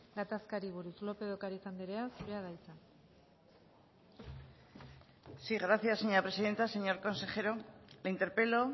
gatazkari buruz lopez de ocariz andrea zurea da hitza sí gracias señora presidenta señor consejero le interpelo